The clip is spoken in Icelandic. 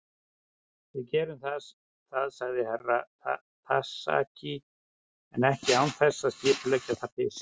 Við gerum það, sagði Herra Takashi, en ekki án þess að skipuleggja það fyrst.